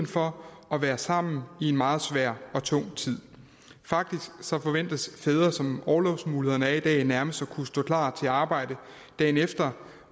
for at være sammen i en meget svær og tung tid faktisk forventes fædre som orlovsmulighederne er i dag nærmest at kunne stå klar til arbejde dagen efter